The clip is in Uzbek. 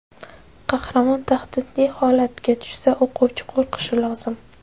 Qahramon tahdidli holatga tushsa, o‘quvchi qo‘rqishi lozim.